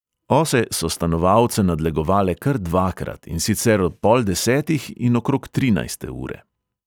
Ose so stanovalce nadlegovale kar dvakrat, in sicer ob pol desetih in okrog trinajste ure.